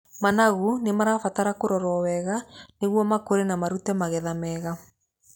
Managu mabataraga kũrorwo wega nĩguo makũre na marute magetha mega.